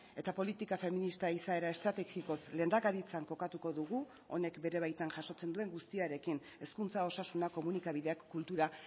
eta politika feminista izaera estrategikoz lehendakaritzan kokatuko dugu honek bere baitan jasotzen duen guztiarekin hezkuntza osasuna komunikabideak kultura